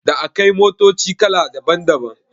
Da akai motoci kala daban daban